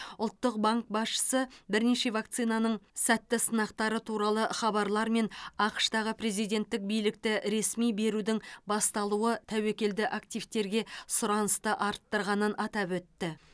ұлттық банк басшысы бірнеше вакцинаның сәтті сынақтары туралы хабарлар мен ақш тағы президенттік билікті ресми берудің басталуы тәуекелді активтерге сұранысты арттырғанын атап өтті